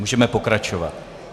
Můžeme pokračovat.